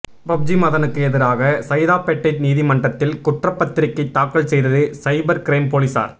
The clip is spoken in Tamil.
பப்ஜி மதனுக்கு எதிராக சைதாப்பேட்டை நீதிமன்றத்தில் குற்றபத்திரிக்கை தாக்கல் செய்தது சைபர் கிரைம் போலீசார்